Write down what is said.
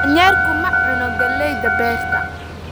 Daanyeerku ma cuno galleyda beerta